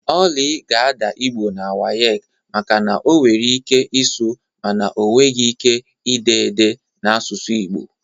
Oly ga-adaa Igbo na WAEC maka na ọ nwere ike ịsụ mana ọ nweghị ike ide ede n'asụsụ Igbo